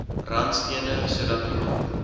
randstene sodat iemand